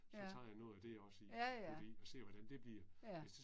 Ja. Ja ja. Ja